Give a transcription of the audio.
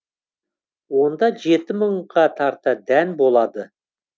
онда жеті мыңға тарта дән болады